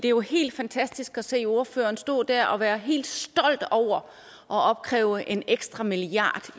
jo helt fantastisk at se ordføreren stå der og være helt stolt over at opkræve en ekstra milliard